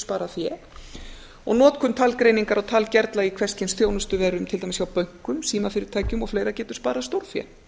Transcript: sparað fé og notkun talgreiningar og talgervla í hvers kyns þjónustuverum til dæmis hjá bönkum símfyrirtækjum og á getur sparað stórfé